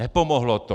Nepomohlo to.